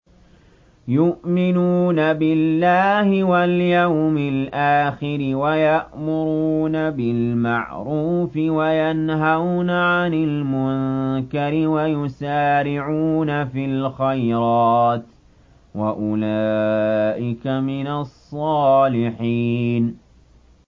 يُؤْمِنُونَ بِاللَّهِ وَالْيَوْمِ الْآخِرِ وَيَأْمُرُونَ بِالْمَعْرُوفِ وَيَنْهَوْنَ عَنِ الْمُنكَرِ وَيُسَارِعُونَ فِي الْخَيْرَاتِ وَأُولَٰئِكَ مِنَ الصَّالِحِينَ